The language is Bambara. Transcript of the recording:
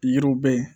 Yiriw bɛ yen